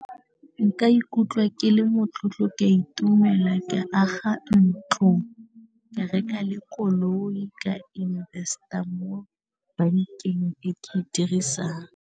Nka ikutlwa ke le motlotlo ka itumela ka aga ntlo, ka reka le koloi, ka invest-a mo bankeng e ke e dirisang.